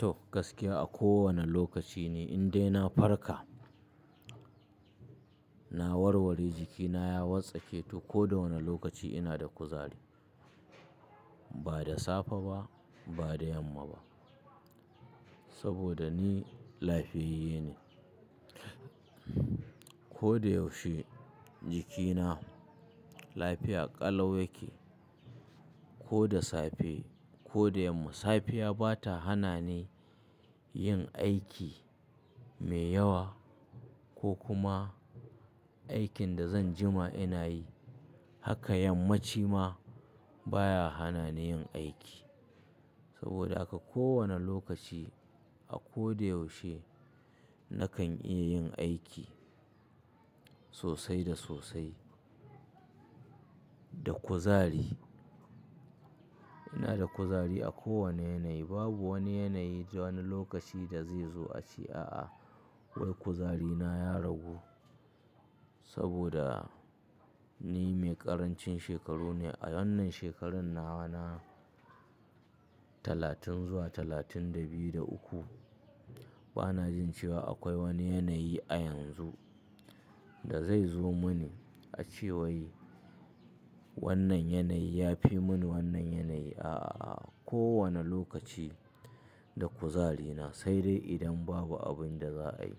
To, gaskiya a kowane lokaci ni in dai na farka, na warware jikina ya watsake to ko da wane lokaci ina da kuzari. Ba da safe ba, ba da yamma ba. Saboda ni lafiyayyene. Ko da yaushe jikina lafiya ƙalau yake. Ko da safe ko da yamma. Safiya ba ta hana ni yin aiki mai yawa ko kuma aikin da zan jima ina yi. Haka yammaci ma, baya hana ni yin aiki. Saboda haka ko wane lokaci a ko da yaushe nakan iya yin aiki sosai da sosai, da kuzari. Ina da kuzari a kowane yanayi. Babu wani yanayi ko wani lokaci da zai zo a ce, a'a wai kuzarina ya ragu. Saboda ni mai ƙarancin shekaru ne. A wannan shekarar nawa na talatin zuwa talatin da biyu da uku. Bana jin cewa akwai wani yanayi a yanzu da zai zo mini a ce wai wannan yanayi ya fi mini wannan yanayi. A'a, a'a. Ko wane lokaci da kuzarina, sai dai idan babu abin da za'a yi.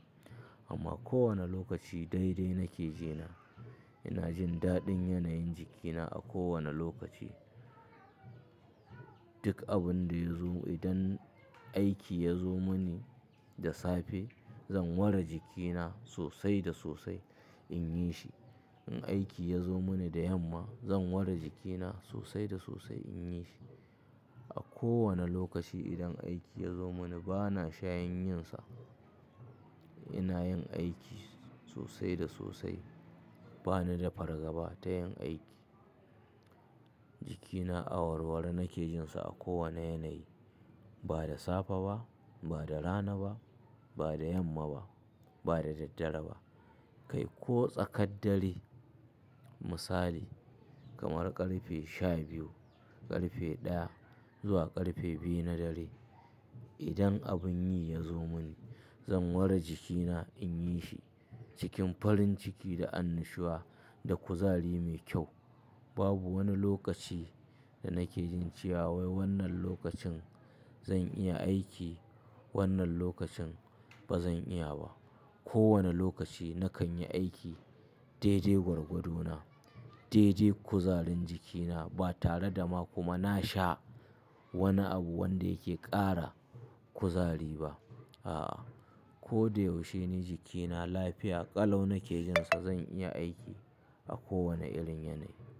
Amma ko wane lokaci dai dai nake jina. Ina jin daɗin yanayin jikina a kowane lokaci. Duk abin da ya zo, idan aiki ya zo mini da safe, zan ware jikina sosai da sosai in yi shi. In aiki ya zo mini da yamma, zan ware jikina sosai da sosai in yi shi. A kowane lokaci idan aiki ya zo mini bana shayin yin sa. Ina yin aiki sosai da sosai. Bani da fargaba ba ta yin aiki. Jikina a warware nake jin sa a kowane yanayi. Ba da safe ba, ba da rana ba, ba da yamma ba, ba da daddare ba. Kai ko tsakar dare. Misali kamar ƙarfe shabiyu, ƙarfe ɗaya, zuwa ƙarfe biyu na dare. Idan abun yi ya zo mini zan ware jikina in yi shi cikin farin ciki da annashuwa da kuzari mai kyau. Babu wani lokaci da nake jin cewa wai wannan lokacin zan iya aiki. Wannan lokacin ba zan iya ba. Ko wane lokaci nakan yi aiki dai dai gwargwadona, dai dai kuzarin jikina. Ba tare da ma kuma na sha wani abu wanda yake ƙara kuzari ba. A'a. Ko da yaushe ni jikina lafiya ƙalau nake jin sa zan iya aiki a kowane irin yanayi.